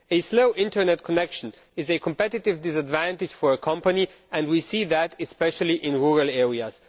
A slow Internet connection is a competitive disadvantage for a company, and we see that especially in rural areas.